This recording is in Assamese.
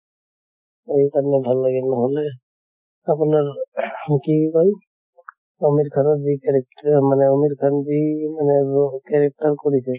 এই কাৰণে ভাল লাগে নহলে আপোনাৰ ing আমিৰ খানৰ যি character মানে আমিৰ খান যি character কৰিছে